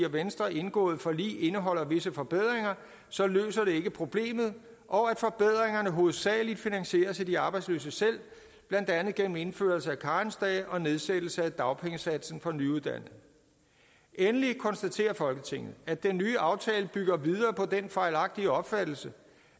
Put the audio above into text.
og venstre indgåede forlig indeholder visse forbedringer så løser det ikke problemet og at forbedringerne hovedsageligt finansieres af de arbejdsløse selv blandt andet gennem indførelse af karensdage og nedsættelse af dagpengesatsen for nyuddannede endeligt konstaterer folketinget at den nye aftale bygger videre på den fejlagtige opfattelse